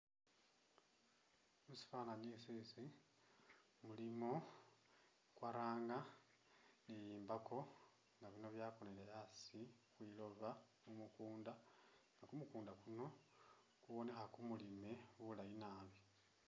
Musifwani isisi mulimo kwaranga ni i'mbako nga bino byakonile asi khwi loba mumukunda nga kumukunda kuno kabonekha kumulime bulaayi nabi.